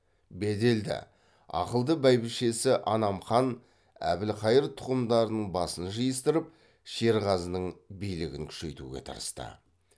беделді ақылды бәйбішесі анам хан әбілқайыр тұқымдарының басын жиыстырып шерғазының билігін күшейтуге тырысты